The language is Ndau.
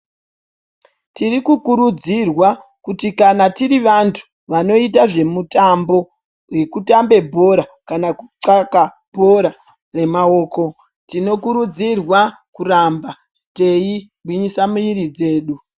Tirikukurudzirwa kuti kana tiri vanhu vanoite zvemutambo, zvekutamba bhora, kana kuxaka bhora remaoko tinofanira kuramba teigwinyisa miviri yedu.